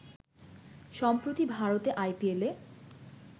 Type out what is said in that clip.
সম্প্রতি ভারতে আইপিএলে